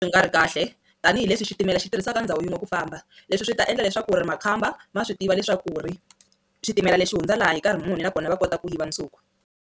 Yi nga ri kahle tanihileswi xitimela xi tirhisaka ndhawu yin'we ku famba leswi swi ta endla leswaku ri makhamba ma swi tiva leswaku ri xitimela lexi hundza laha hi nkarhi muni nakona va kota ku yiva nsuku.